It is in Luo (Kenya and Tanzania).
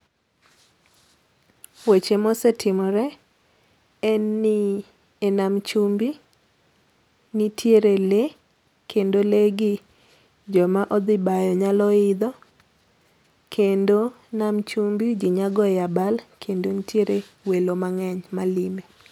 Weche mosetimore en ni e nam chumbi nitiere lee kendo lee gi joma odhi bayo nyalo idho kendo, nam chumbi ji nyalo goye abal kendo nitiere welo angeny malime.